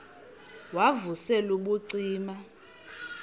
wav usel ubucima